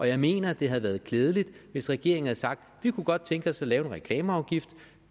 jeg mener at det havde været klædeligt hvis regeringen havde sagt vi kunne godt tænke os at lave en reklameafgift